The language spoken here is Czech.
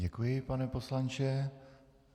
Děkuji, pane poslanče.